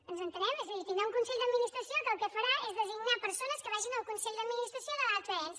ens entenem és a dir tindrà un consell d’administració que el que farà és designar persones que vagin al consell d’administració de l’altre ens